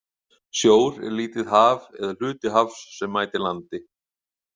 Sjór er lítið haf eða hluti hafs sem mætir landi.